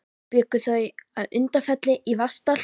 Bjuggu þau að Undirfelli í Vatnsdal.